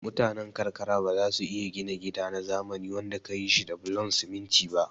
Mutane karkara bazasu iya gina gida na zamani wanda kayi shi da bulon siminti ba